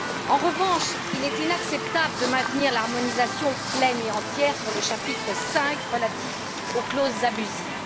En revanche, il est inacceptable de maintenir l'harmonisation pleine et entière sur le chapitre V, relatif aux clauses abusives.